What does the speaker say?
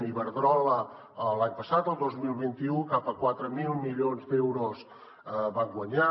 iberdrola l’any passat el dos mil vint u cap a quatre mil milions d’euros van guanyar